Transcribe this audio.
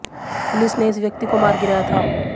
police ने इस व्यक्ति को मार गिराया था